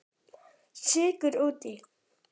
Sykur út í.